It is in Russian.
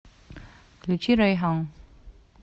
включи райхон